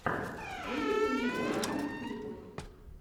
выведи мне варианты клипов